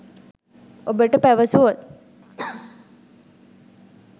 ඔබට පැවසුවොත්